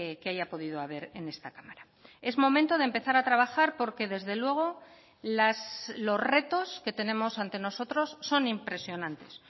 que haya podido haber en esta cámara es momento de empezar a trabajar porque desde luego los retos que tenemos ante nosotros son impresionantes